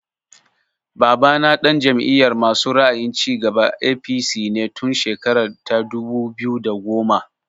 Babana ɗan Jam'iyar masu ra'ayin cigaba (APC) ne tun shekara ta dubu biyu da goma